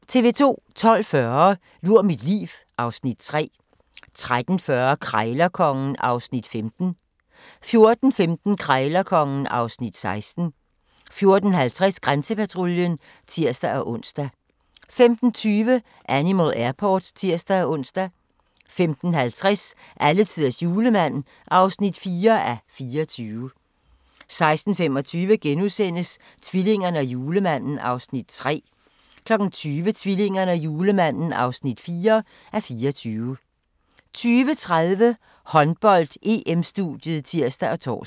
12:40: Lur mit liv (Afs. 3) 13:40: Krejlerkongen (Afs. 15) 14:15: Krejlerkongen (Afs. 16) 14:50: Grænsepatruljen (tir-ons) 15:20: Animal Airport (tir-ons) 15:50: Alletiders Julemand (4:24) 16:25: Tvillingerne og Julemanden (3:24)* 20:00: Tvillingerne og Julemanden (4:24) 20:30: Håndbold: EM-studiet (tir og tor) 20:50: Håndbold: EM - Danmark-Serbien (k)